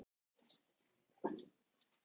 Þau horfðu spennt á mig og biðu eftir einkennunum.